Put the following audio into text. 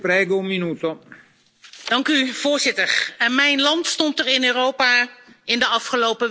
Voorzitter, mijn land stond er in Europa in de afgelopen weken niet al te best op.